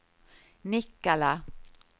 Nikkala